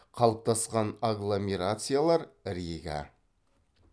қалыптасқан агломерациялар рига